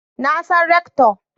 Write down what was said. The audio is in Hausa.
Na san Rector